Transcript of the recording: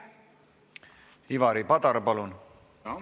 Ivari Padar, palun!